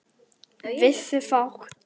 Vissu fátt.